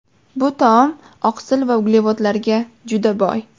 Bu taom oqsil va uglevodlarga juda boy.